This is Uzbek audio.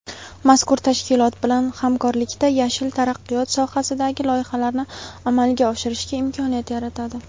mazkur tashkilot bilan hamkorlikda "yashil" taraqqiyot sohasidagi loyihalarni amalga oshirishga imkoniyat yaratadi.